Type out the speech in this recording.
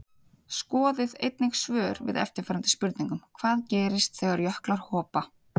Skoðið einnig svör við eftirfarandi spurningum Hvað gerist þegar jöklar hopa?